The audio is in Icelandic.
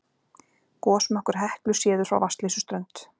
Gosmökkur Heklu séður frá Vatnsleysuströnd